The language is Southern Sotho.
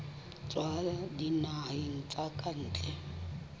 tswa dinaheng tsa ka ntle